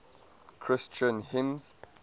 christian hymns